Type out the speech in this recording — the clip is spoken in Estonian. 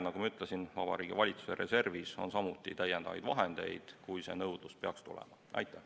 Nagu ma ütlesin, Vabariigi Valitsuse reservis on samuti täiendavaid vahendeid, kui nõudlus peaks tekkima.